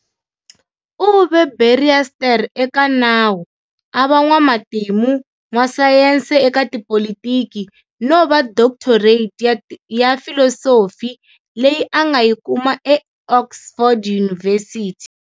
U ve barrister eka nawu, a va n'wamatimu, n'wasayense eka tipolitiki, no va doctorate ya filosofi leyi a nga yi kuma eOxford University.